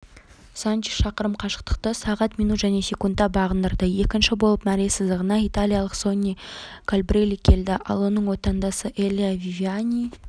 санчес шақырым қашықтықты сағат минут және секундта бағындырды екінші болып мәре сызығына италиялық сонни кольбрелли келді ал оның отандасы элиа вивиани